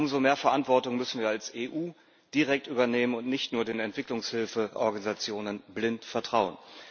Umso mehr Verantwortung müssen wir als EU direkt übernehmen und nicht nur den Entwicklungshilfeorganisationen blind vertrauen.